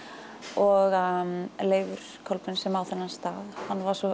og Leifur Kolbeins sem á þennan stað hann var svo